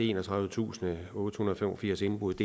enogtredivetusinde og ottehundrede og femogfirs indbrud